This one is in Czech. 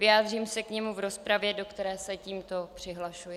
Vyjádřím se k němu v rozpravě, do které se tímto přihlašuji.